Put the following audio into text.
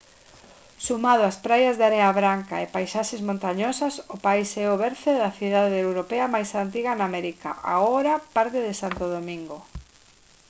sumado ás praias de area branca e paisaxes montañosas o país é o berce da cidade europea máis antiga en américa agora parte de santo domingo